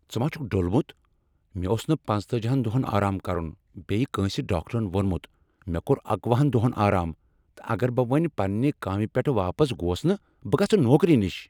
ژٕ ما چھُکھ ڈوٚلمت؟ مےٚ اوس نہٕ پنژتأجی ہَن دۄہن آرام کرن بیٚیہ کٲنسہ ڈاکٹرن ووٚنمت مےٚ کوٚر اکۄُہنَ دۄہن آرام تہٕ اگر بہٕ وۄنۍ پنٛنہ کامہ پیٹھ واپس گوس نہٕ بہٕ گژھٕ نوکری نشہ۔